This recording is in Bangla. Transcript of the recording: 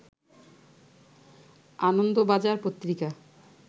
আনন্দ বাজার পত্রিকা